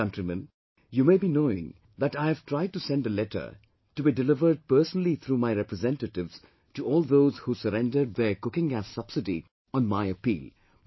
Dear countrymen, you may be knowing that I have tried to send a letter, to be delivered personally through my representatives, to all those who surrendered their cooking gas subsidy on my appeal